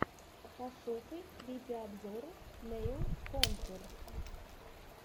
пошукай видеообзоры нэйл контур